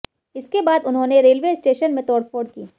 इसके बाद उन्होंने रेलवे स्टेशन में तोड़फोड़ की